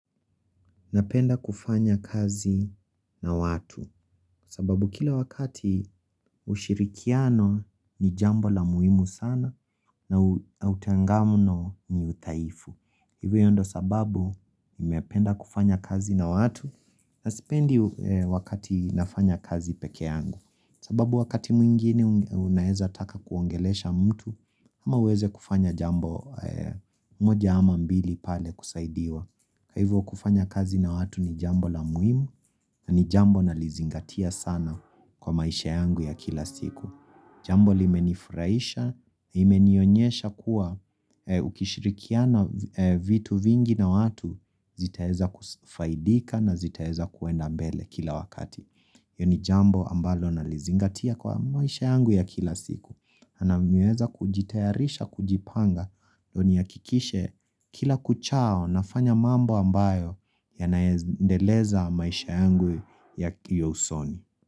Napenda kufanya kazi na watu sababu kila wakati ushirikiano ni jambo la muhimu sana na utengamuno ni udhaifu. Hivyo ndo sababu nimependa kufanya kazi na watu na sipendi wakati nafanya kazi pekeangu. Sababu wakati mwingine unaeza taka kuongelesha mtu ama uweze kufanya jambo moja ama mbili pale kusaidiwa. Kwa Hivo kufanya kazi na watu ni jambo la muhimu na ni jambo na lizingatia sana kwa maisha yangu ya kila siku. Jambo li menifurahisha, imenionyesha kuwa ukishirikiana vitu vingi na watu zitaeza kufaidika na zitaeza kuenda mbele kila wakati. Hio ni jambo ambalo na lizingatia kwa maisha yangu ya kila siku. Naam nimeweza kujitayarisha kujipanga ndio ni hakikishe kila kuchao nafanya mambo ambayo ya naendeleza maisha yangu ya kiusoni.